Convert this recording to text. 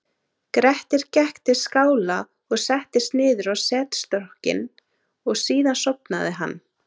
grettir gekk til skála og settist niður á setstokkinn og síðan sofnaði hann